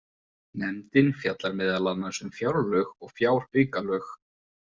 Nefndin fjallar meðal annars um fjárlög og fjáraukalög.